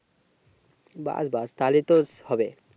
বাস বাস তাহলেই তো হবে